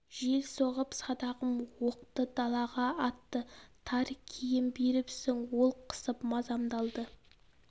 жел соғып садағым оқты далаға атты тар киім беріпсің ол қысып мазамды алды